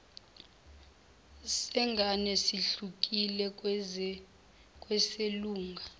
sengane sihlukile kweselunga